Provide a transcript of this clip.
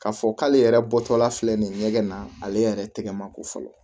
K'a fɔ k'ale yɛrɛ bɔtɔla filɛ nin ye ɲɛgɛn na ale yɛrɛ tɛgɛ mako fɔlɔ